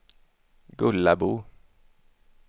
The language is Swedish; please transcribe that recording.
Gullabo